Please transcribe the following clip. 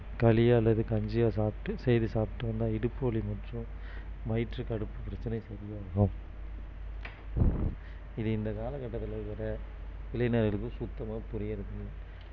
களி அல்லது கஞ்சியா சாப்பிட்டு செய்து சாப்பிட்டு வந்தா இடுப்பு வலி மற்றும் வயிற்று கடுப்பு பிரச்சனை சரியாயிரும் இது இந்த காலகட்டத்தில இருக்கிற இளைஞர்களுக்கு சுத்தமா புரியுறது இல்லை